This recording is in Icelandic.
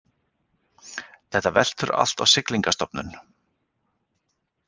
Þetta veltur allt á Siglingastofnun